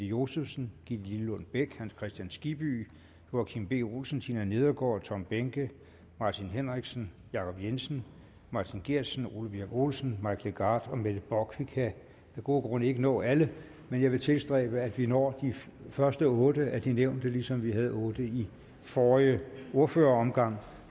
josefsen gitte lillelund bech hans kristian skibby joachim b olsen tina nedergaard tom behnke martin henriksen jacob jensen martin geertsen ole birk olesen mike legarth og mette bock vi kan af gode grunde ikke nå alle men jeg vil tilstræbe at vi når de første otte af de nævnte ligesom vi havde otte i forrige ordføreromgang